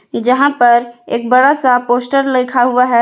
जहां पर एक बड़ा सा पोस्टर लिखा हुआ है।